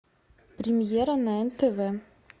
премьера на нтв